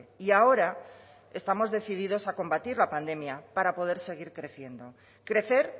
y ahora estamos decididos a combatir la pandemia para poder seguir creciendo crecer